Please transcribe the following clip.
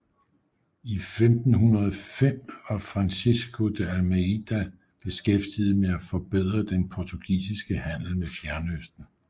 I 1505 var Francisco de Almeida beskæftiget med at forbedre den portugisiske handel med Fjernøsten